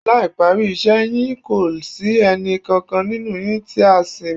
Láì parí iṣẹ́ yín kò sí ẹnì kankan nínú yín tí á sinmi